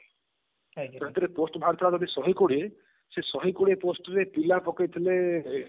ସେଥିରେ post ବାହାରି ଥିଲା ଯଦି ଶହେ କୋଡିଏ ସେ ଶହେ କୋଡିଏ post ପାଇଁ ପିଲା ପକେଇଥିଲେ ଏ